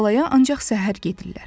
Tallaya ancaq səhər gedirlər.